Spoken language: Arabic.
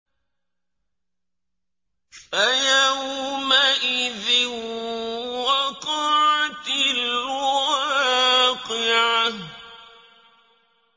فَيَوْمَئِذٍ وَقَعَتِ الْوَاقِعَةُ